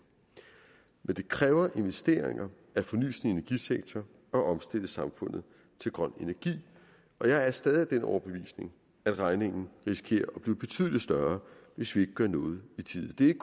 men det kræver investeringer at forny sin energisektor og omstille samfundet til grøn energi og jeg er stadig af den overbevisning at regningen risikerer at blive betydelig større hvis vi ikke gør noget i tide det er